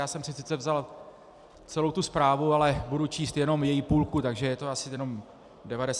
Já jsem si sice vzal celou tu zprávu, ale budu číst jenom její půlku, takže je to asi jenom 96 stránek...